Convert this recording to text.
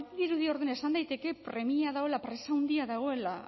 badirudi orduan esan daiteke premia dagoela presa handia dagoela